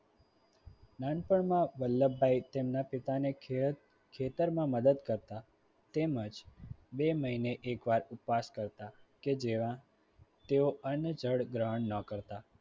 નાનપણમાં વલ્લભભાઈ તેમના પિતાને ખેત ખેતરમાં મદદ કરતા તેમજ બે મહિને એકવાર ઉપવાસ કરતાં કે જ્યાં તેઓ અન્ન જળ ગ્રહણ ન કરતા.